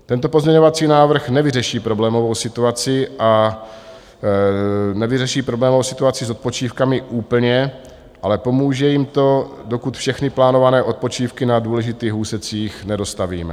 Tento pozměňovací návrh nevyřeší problémovou situaci a nevyřeší problémovou situaci s odpočívkami úplně, ale pomůže jim to, dokud všechny plánované odpočívky na důležitých úsecích nedostavíme.